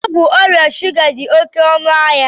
Ọgwụ ọrịa shuga dị oké ọnụ ahịa